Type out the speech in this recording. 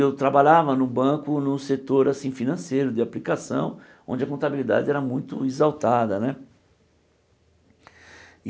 Eu trabalhava no banco, num setor assim financeiro, de aplicação, onde a contabilidade era muito exaltada né.